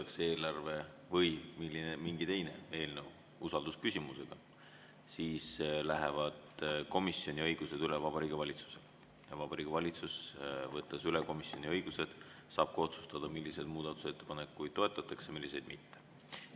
Kui eelarve või mingi teine eelnõu seotakse usaldusküsimusega, siis lähevad komisjoni õigused üle Vabariigi Valitsusele ja Vabariigi Valitsus, võttes üle komisjoni õigused, saab otsustada, milliseid muudatusettepanekuid toetatakse, milliseid mitte.